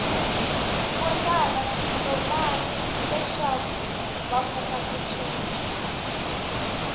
votala switolani leswakuva kota ku cica